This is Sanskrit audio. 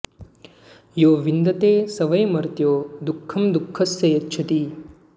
यो विन्दते स वै मर्त्यो दुःखं दुःखस्य यच्छति